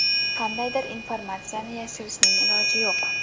Qandaydir informatsiyani yashirishning iloji yo‘q.